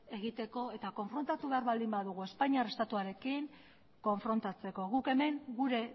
egiteko eta konfrontatu behar baldin badugu espainiar estatuarekin konfrontatzeko guk hemen gure